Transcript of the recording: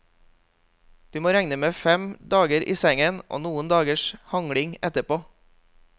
Du må regne med fem dager i sengen og noen dagers hangling etterpå.